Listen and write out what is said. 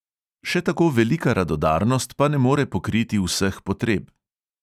Še tako velika radodarnost pa ne more pokriti vseh potreb.